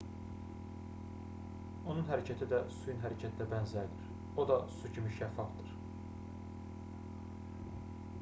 onun hərəkəti də suyun hərəkətinə bənzərdir o da su kimi şəffafdır